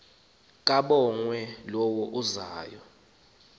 kabongwe low uzayo